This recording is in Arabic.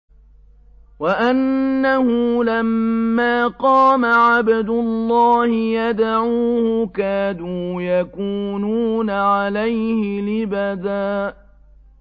وَأَنَّهُ لَمَّا قَامَ عَبْدُ اللَّهِ يَدْعُوهُ كَادُوا يَكُونُونَ عَلَيْهِ لِبَدًا